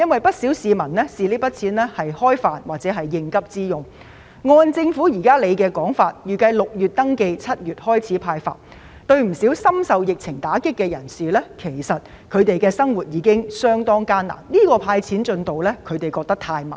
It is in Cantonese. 不少市民會用這筆錢來"開飯"或應急，但按照政府現時的說法，預計在6月進行登記、7月開始"派錢"，對於不少深受疫情打擊的人士，現時的生活已經相當艱難，這種"派錢"進度太慢。